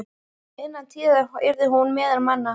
Innan tíðar yrði hún meðal manna.